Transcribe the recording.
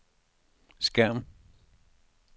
skærm